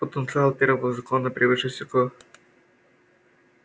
потенциал первого закона превыше всего